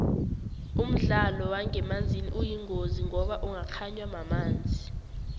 umdlalo wangemanzini uyingozi ngoba ungakganywa mamanzi